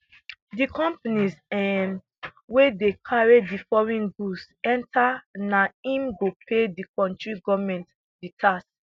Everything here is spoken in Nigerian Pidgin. di companies um wey dey carry di foreign goods enta na im go pay di kontri goment di tax